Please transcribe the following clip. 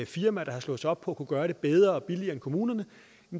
firmaer der har slået sig op på at kunne gøre det bedre og billigere end kommunerne